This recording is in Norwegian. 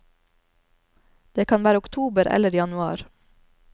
Det kan være oktober eller januar.